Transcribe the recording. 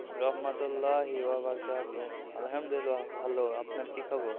রহমত আল্লাহে আলহামদুলিল্লাহ ভালো আপনার কি খবর?